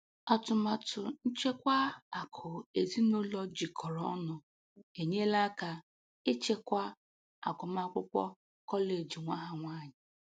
Atụmatụ nchekwa akụ ezinụlọ jikọrọ ọnụ enyela aka ịchịkwa agụmakwụkwọ kọleji nwa ha nwanyị.